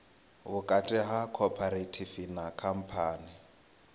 vhukati ha khophorethivi na khamphani